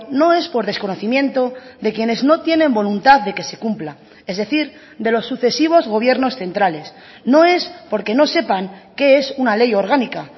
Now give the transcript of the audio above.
no es por desconocimiento de quienes no tienen voluntad de que se cumpla es decir de los sucesivos gobiernos centrales no es porque no sepan qué es una ley orgánica